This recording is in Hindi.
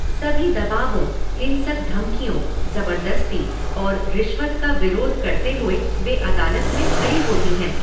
सभी दबावों, हिंसक धमकियों, ज़बरदस्ती और रिश्वत का विरोध करते हुए वे अदालत में खड़ी होती हैं।